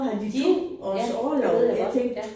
De ja det ved jeg godt ja